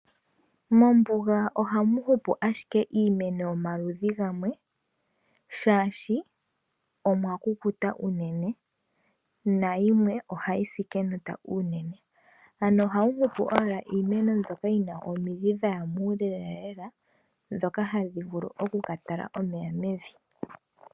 Mombuga ohamu hupu ashike iimeno yomaludhi gamwe oshoka omwa kukuta unene nayimwe ohayi si kenota unene. Ano ohamu hupu owala iimeno mbyoka yina omidhi dhaya muule lela lela ndhoka hadhi vulu oku katala omeya mevi.